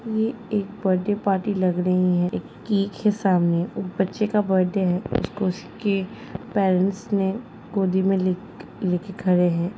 ये एक birthday party लग रही है| एक केक है सामने और बच्चे का बड्डे है। उसको उसके पेरेंट्स ने गोदी में लेक लेके खड़े हैं।